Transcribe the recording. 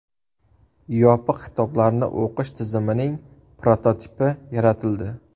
Yopiq kitoblarni o‘qish tizimining prototipi yaratildi.